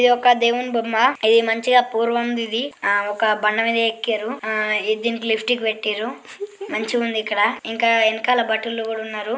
ఇది ఒక దేవుని బొమ్మా. ఇది మంచిగా పూర్వంది ఇది. ఆ ఒక బండ మీద ఎక్కారు. ఆ దీనికి లిఫ్టిక్ పెట్టిర్రు. మంచిగుంది ఇక్కడ. ఇంకా ఎనకాల భటులు కూడా ఉన్నారు.